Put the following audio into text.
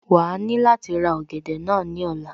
Wàá ní láti ra ọ̀gẹ̀dẹ̀ náà ní ọ̀la